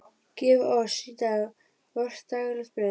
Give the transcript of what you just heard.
Gef oss í dag vort daglegt brauð.